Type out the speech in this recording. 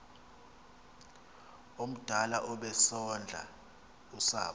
omdala obesondla usapho